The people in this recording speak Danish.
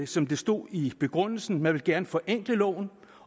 som der stod i begrundelsen man gerne ville forenkle loven